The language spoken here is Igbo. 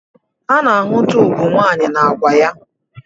Ana-ahụta ugwu nwanyị na agwa ya